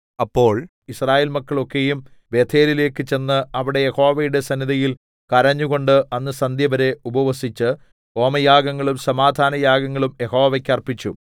അപ്പോൾ യിസ്രായേൽ മക്കൾ ഒക്കെയും ബേഥേലിലേക്ക് ചെന്നു അവിടെ യഹോവയുടെ സന്നിധിയിൽ കരഞ്ഞുകൊണ്ട് അന്ന് സന്ധ്യവരെ ഉപവസിച്ച് ഹോമയാഗങ്ങളും സമാധാനയാഗങ്ങളും യഹോവയ്ക്ക് അർപ്പിച്ചു